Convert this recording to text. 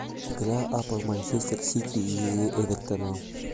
игра апл манчестер сити и эвертона